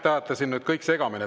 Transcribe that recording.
Te ajate nüüd kõik segamini.